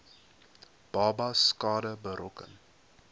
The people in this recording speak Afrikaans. babas skade berokken